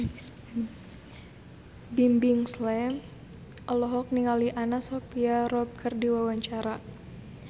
Bimbim Slank olohok ningali Anna Sophia Robb keur diwawancara